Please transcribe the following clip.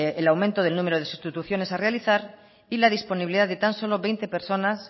el aumento del número de sustituciones a realizar y la disponibilidad de tan solo veinte personas